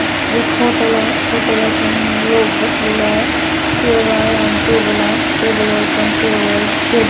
एक होटल आहे होटेलातून लोक बसलेला आहे चेअर आहे आणि टेबल आहे टेबलवर पण चेयरवर --